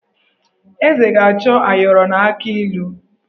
Eze ga-achọ ayọrọ na akị ilu.